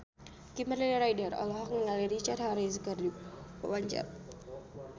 Kimberly Ryder olohok ningali Richard Harris keur diwawancara